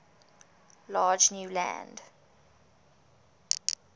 large new land